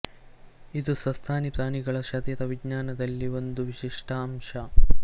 ಇದು ಸಸ್ತನಿ ಪ್ರಾಣಿಗಳ ಶರೀರ ವಿಜ್ಞಾನದಲ್ಲಿ ಒಂದು ವಿಶಿಷ್ಟ ಅಂಶ